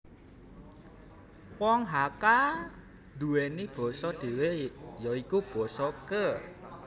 Wong Hakka nduweni basa dhewe ya iku Basa Ke